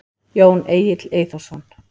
Jón Egill Eyþórsson.